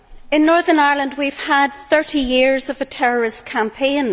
In Northern Ireland we have had 30 years of a terrorist campaign.